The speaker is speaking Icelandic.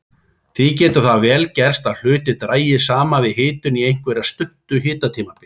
Því getur það vel gerst að hlutir dragist saman við hitun á einhverju stuttu hitabili.